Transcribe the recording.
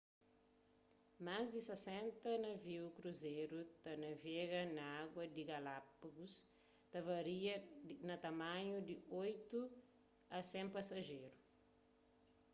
más di 60 naviu kruzeru ta navega na agu di galápagus ta varia na tamanhu di 8 a 100 pasajeru